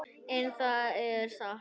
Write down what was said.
En það er satt.